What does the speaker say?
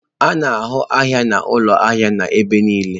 A na-ahụ ahịa na ụlọ ahịa n'ebe niile.